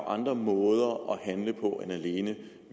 andre måder at handle på end alene